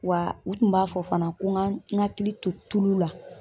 Wa u tun b'a fɔ fana ko ŋa n hakili to tulu la.